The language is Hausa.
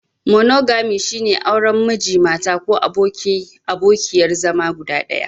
Monogami, shine auren Miji/Mata ko abokin/abokiyar zama guda ɗaya.